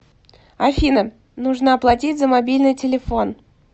афина нужно оплатить за мобильный телефон